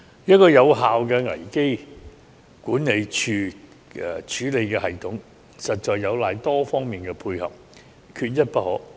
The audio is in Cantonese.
一個有效的危機管理處理的系統，實在有賴多方面的配合，缺一不可。